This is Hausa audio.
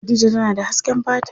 Khadija tana da hasken fata.